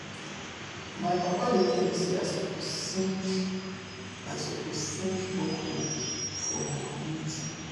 my papa dey tell me sey i suppose sink i suppose sink borehole for my community